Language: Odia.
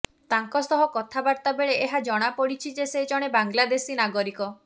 ତାଙ୍କ ସହ କଥାବାର୍ତ୍ତାବେଳେ ଏହା ଜଣାପଡ଼ିଛି ଯେ ସେ ଜଣେ ବାଂଲାଦେଶୀ ନାଗରିକ